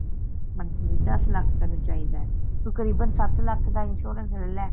monthly ਦੱਸ ਲੱਖ ਤੈਨੂੰ ਚਾਹੀਦਾ ਤੂੰ ਤਕਰੀਬਨ ਸੱਤ ਲੱਖ ਦਾ insurance ਲੱਲੇ